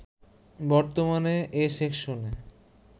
বর্তমানে এ সেকশনে